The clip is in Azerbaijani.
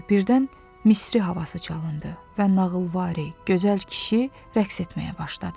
Birdən Misri havası çalındı və nağılvari gözəl kişi rəqs etməyə başladı.